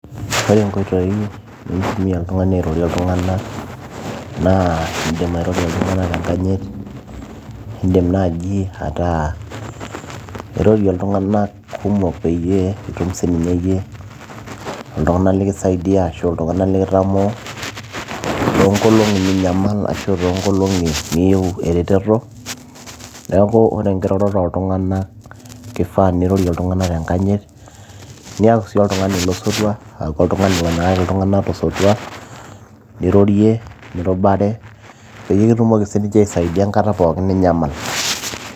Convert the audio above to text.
Ore inkoitoi naitumiya oltung'ani airorie iltung'anak naa naa indiim airorie iltung'anak tenkanyit, indiim naaji ataa irorie iltung'anak kumok peyie itum siiyie iltung'anak lekisaidia ashuu iltung'anak likitamoo toonkolong'i ninyamal asho toonkolong'i niyieu ereteto neeku ore enkiroroto ooltung'anak keifaa nirorie iltung'anak tenkanyit niaku sii oltung'ani losotua aaku oltung'ani onyikaki iltung'anak tosotua nirorie nirubare peekitumoki siininche aisaidia enkata ninyamal.